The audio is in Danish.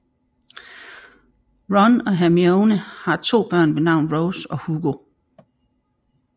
Ron og Hermione har to børn ved navn Rose og Hugo